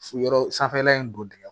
Yɔrɔ sanfɛla in don dingɛn